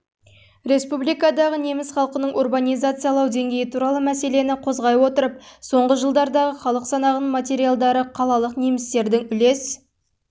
республикадағы неміс халқының урбанизациялау деңгейі туралы мәселені қозғай отырып соңғы жылдардағы халық санағының материалдары қалалық немістердің үлес